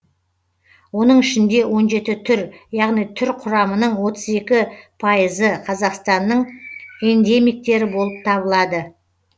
оның ішінде он жеті түр яғни түр құрамының отыз екі пайызы қазақстанның эндемиктері болып табылады